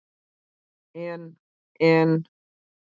En. en.